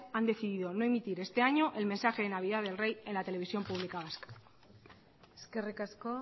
han decidido no emitir este año el mensaje de navidad del rey en la televisión pública vasca eskerrik asko